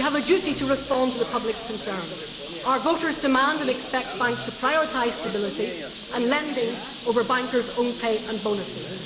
We have a duty to respond to the public's concerns. Our voters demand and expect banks to prioritise stability and lending over bankers' own pay and bonuses.